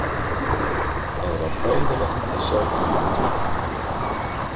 Það var hræðilegt að sjá Tútu.